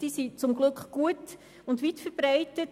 Sie sind gut und weit verbreitet.